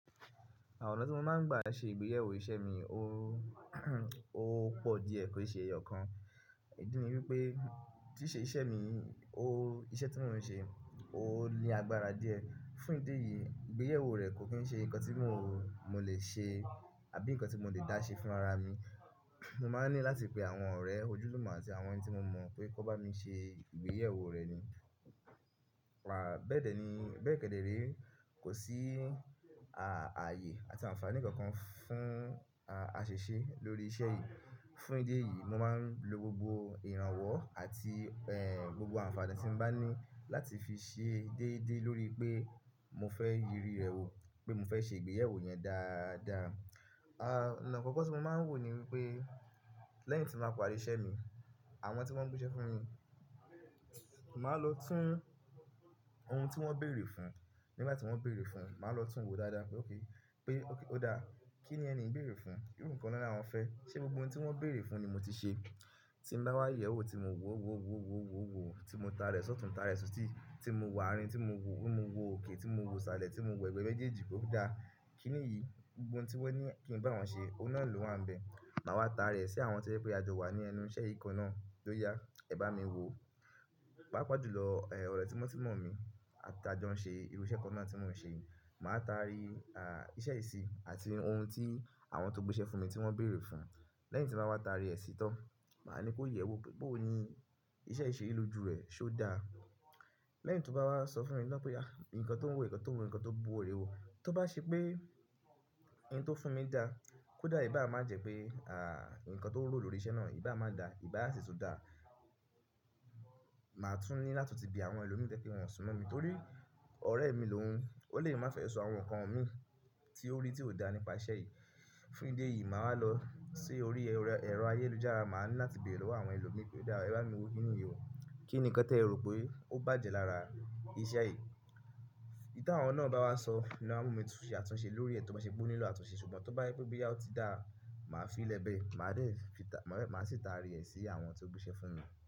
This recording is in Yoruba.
Àwọn ọ̀nà tí mo máa ń gbà ṣe ìgbéyàwó iṣẹ́ mi, ó ó pọ̀ díẹ̀ kó ṣe ẹyọ kan. Ìdí ni wípé tí ṣe iṣẹ́ mi, ó iṣẹ́ tí mo ń ṣe, ó ní agbára díẹ̀. Fún ìdí èyí, ìgbéyàwó rẹ̀ kò kí ń ṣe nǹkan tí mo, mo lè ṣe àbí nǹkan tí mo lè dá ṣe fún ara mi. Mo máa ń ní láti pe àwọn ọ̀rẹ́ ojúlùmọ̀ àti àwọn ẹni tí mo mọ̀ pé kó bá mi ṣe ìgbéyewó rẹ̀ ni. Pa bẹ́ẹ̀dẹ̀ ni, bẹ́ẹ̀ kẹ́dẹ̀ ré kò sí a-ààyè àti àǹfààní kankan fún a-àṣèṣe lórí iṣẹ́ yìí. Fún ìdí èyí, mo máa ń lo gbogbo ìrànwọ́ àti ẹ́ gbogbo àǹfààní tí mo bá ní láti fi ṣe déédéé lórí pé mo fẹ́ ìrírí rẹ̀ wò pé mo fẹ́ ṣe ìgbéyàwó yẹn dáadáa. À nǹkan àkọ́kọ́ tí mo máa ń wò ni wípé lẹ́yìn tí mo bá parí iṣẹ́ mi, àwọn tí wọ́n ń gbéṣẹ́ fún mi, màá lọ tún ohun tí wọ́n béèrè fún nígbà tí wọ́n béèrè fún, màá lọ tún wo dáadáa pé oké pé oké ó dáa. Kí ni ẹni ń béèrè fún? Irú nǹkan lọ́lá wọn fẹ́. Ṣé gbogbo ohun tí wọ́n béèrè fún ni mo ti ṣe? Tí mo bá wá ìyẹ̀wù tí mo wò, wò, wò, wò, wò, wò, tí mo ta rẹ̀ sọ́tùn, ta rẹ̀ sọtí, tí mo wàárìn, tí mo wò, mo wo òkè, tí mo wo salẹ̀, tí mo wo ẹgbẹ́ méjèèjì pó dáa. Kí nìyí? Gbogboohun tí wọ́n ní kí n bá wọn ṣe, ọ̀nà náà ló wà níbẹ̀. Màá wá ta rẹ̀ sí àwọn tó sọ wípé a jọ wà ní ẹnu iṣẹ́ ikán náà tó yá, ẹ bá mi wo. Pápá jùlọ, ẹ́ ọ̀rẹ́ tíwọ́n tí mọ̀ mí a ta jọ ń ṣe irú iṣẹ́ kan náà tí mò ń ṣe. Màá ta rí a ìṣe ìṣì àti ohun tí àwọn tó gbéṣẹ́ fún mi tí wọ́n béèrè fún. Lẹ́yìn tí mo bá wá ta rí ẹ̀ síi tọ́, màá ní kó yẹ̀wò pébó ni iṣẹ́ ìṣe ló ju rẹ̀ ṣó dáa. Lẹ́yìn tí ó bá wá sọ fún mi lọ́wọ́ pé já, nǹkan tó ń wò, nǹkan tó ń wò, nǹkan tó ń bu ọ rẹ wò. Tó bá ṣe pé ohun tó fún mi dá, kó dà ìbá má jẹ́ pé à nǹkan tó ń wò lórí iṣẹ́ náà ìbá má da, ìbá sì tún dáa. Màá tún ní láti bi àwọn ẹlòmíràn pé kí wọ́n súnmọ̀ mi nítorí ọ̀rẹ́ mi lòun. Ó lè má fẹ sọ àwọn nǹkan mi tí ó rí tí ò dáa nípa iṣẹ́ yìí. Fún ìdí èyí, màá lọ sí orí ẹrọ ayélujára, màá ní láti bèrè lọ́wọ́ àwọn ẹlòmíràn pé dáa, ẹ bá mi wo kí nìyí wò. Kí nǹkan tẹ rò pé ó bàjẹ́ lára iṣẹ́ yìí? Í tí àwọn náà bá wá sọ, iná mú mi tu ṣe àtúnṣe lórí rẹ̀ tó bá ṣe gbóní lọ̀ àtúnṣe. Ṣùgbọ́n tó bá wí pé bí ya ó ti dáa, màá fi lẹ bẹ́ẹ̀. Màá lè fi ta, màá sì ta rí ẹ̀ sí àwọn tí ó gbéṣẹ́ fún mi.